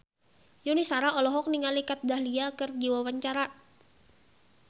Yuni Shara olohok ningali Kat Dahlia keur diwawancara